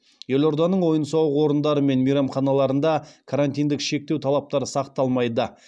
елорданың ойын сауық орындары мен мейрамханаларында карантиндік шектеу талаптары сақталмайды